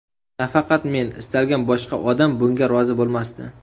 Nafaqat men, istalgan boshqa odam bunga rozi bo‘lmasdi.